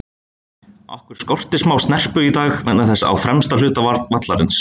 Okkur skorti smá snerpu í dag vegna þess á fremsta hluta vallarins.